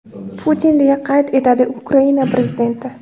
Putin”, deya qayd etadi Ukraina prezidenti.